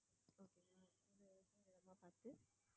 நல்ல இடமா பார்த்து